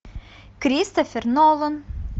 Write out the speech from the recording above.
кристофер нолан